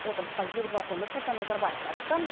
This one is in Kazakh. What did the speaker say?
отырысқа елбасы нұрсұлтан назарбаев қатысты